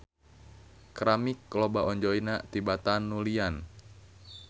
Keramik loba onjoyna tibatan nulian.